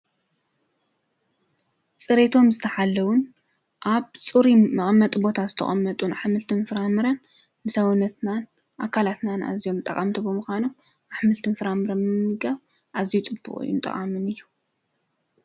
ፅሬቶም ዝተሓለውን ኣብ ፅሩይ መቐመጢ ቦታ ዝተቀመጡን ኣሕምልትን ፍራምረን ንሰዉነትናን ንኣካላትናን ኣዝዮም ጠቀምቲ ብምኳኖም ኣሕምልትን ፍራምረን ምምጋብ ኣዝዩ ፅቡቅን ጠቃምን እዩ።